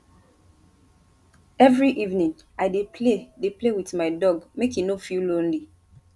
every evening i dey play dey play with my dog make e no feel lonely